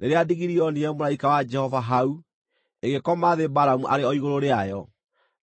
Rĩrĩa ndigiri yoonire mũraika wa Jehova hau, ĩgĩkoma thĩ Balamu arĩ o igũrũ rĩayo,